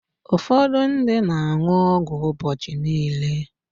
Ụfọdụ ndị na-aṅụ ọgwụ ụbọchị niile.